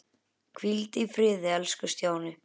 Hvíldu í friði elsku Stjáni.